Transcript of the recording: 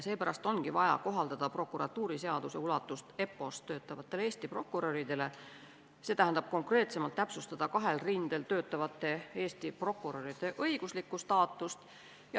Seepärast ongi vaja kohaldada prokuratuuriseadust EPPO-s töötavatele Eesti prokuröridele, st konkreetsemalt täpsustada kahel rindel töötavate Eesti prokuröride õiguslikku staatust.